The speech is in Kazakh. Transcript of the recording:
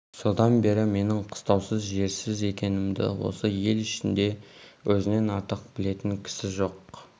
содан бері менің қыстаусыз жерсіз екенімді осы ел ішінде өзінен артық білетін кісі жоқ